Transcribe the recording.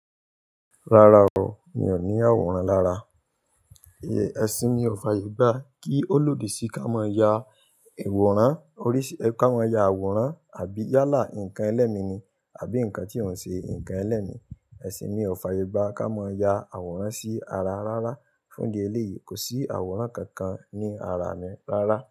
Rárá o, mi ò ní àwòrán lára. Ẹ̀sìn mi ò fàyègba kí ó lòdì sí ká mọ ya àwòrán, oríṣi ẹ ká mọ ya àwòrán àbí yálà nǹkan ẹlẹ́mi ni àbí nǹkan tí òun ṣe nǹkan ẹlẹ́mi. Ẹ̀sìn mi ò fàyègba ká mọ ya àwòrán sí ara rárá. Fún díẹ̀ lé yìí, kò sí àwòrán kankan ní ara mi rárá.